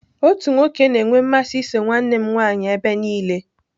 Otu nwoke na-enwe mmasị iso nwanne m nwanyị ebe niile.